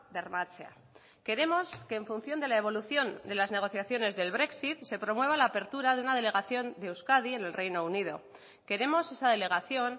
bermatzea queremos que en función de la evolución de las negociaciones del brexit se promueva la apertura de una delegación de euskadi en el reino unido queremos esa delegación